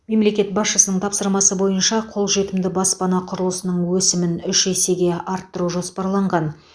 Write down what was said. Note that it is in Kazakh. мемлекет басшысының тапсырмасы бойынша қолжетімді баспана құрылысының өсімін үш есеге арттыру жоспарланған